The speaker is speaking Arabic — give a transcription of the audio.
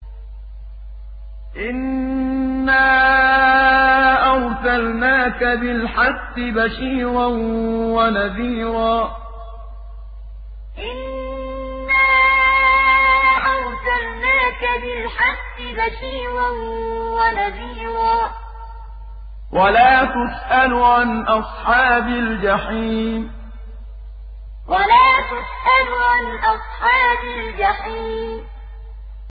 إِنَّا أَرْسَلْنَاكَ بِالْحَقِّ بَشِيرًا وَنَذِيرًا ۖ وَلَا تُسْأَلُ عَنْ أَصْحَابِ الْجَحِيمِ إِنَّا أَرْسَلْنَاكَ بِالْحَقِّ بَشِيرًا وَنَذِيرًا ۖ وَلَا تُسْأَلُ عَنْ أَصْحَابِ الْجَحِيمِ